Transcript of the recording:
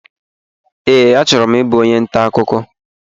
Ee, achọrọ m ịbụ onye ntà ọkụkọ